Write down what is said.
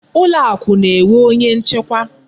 Ụlọakụ na-enwe onye nchekwa.